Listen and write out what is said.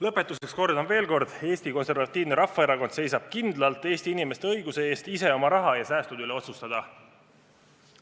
Lõpetuseks kordan veel: Eesti Konservatiivne Rahvaerakond seisab kindlalt Eesti inimeste õiguse eest ise oma raha ja säästude üle otsustada.